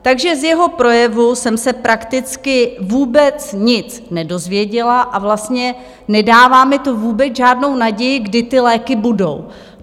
Takže z jeho projevu jsem se prakticky vůbec nic nedozvěděla a vlastně nedává mi to vůbec žádnou naději, kdy ty léky budou.